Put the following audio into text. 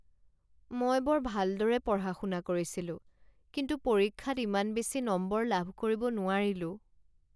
মই বৰ ভালদৰে পঢ়া শুনা কৰিছিলো কিন্তু পৰীক্ষাত ইমান বেছি নম্বৰ লাভ কৰিব নোৱাৰিলো।